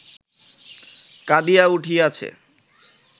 কাঁদিয়া উঠিয়াছে